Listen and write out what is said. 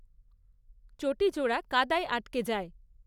চটিজোড়া কাদায় আটকে যায়।